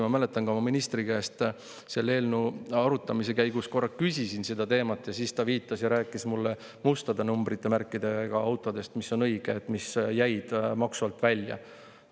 Ma mäletan, ma ministri käest selle eelnõu arutamise käigus korra küsisin selle teema kohta ja siis ta rääkis mulle mustade numbrimärkidega autodest, mis jäid maksu alt välja, mis on õige.